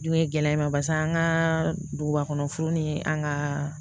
Dun ye gɛlɛya in ma basa an ka dugubakɔnɔ furu ni an ka